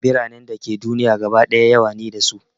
Biranen da ke duniya gaba ɗaya yawa ne da su